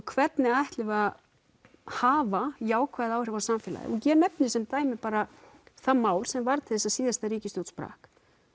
hvernig ætlum við að hafa jákvæð áhrif á samfélagið og ég nefni sem dæmi bara það mál sem varð til þess að síðasta ríkisstjórn sprakk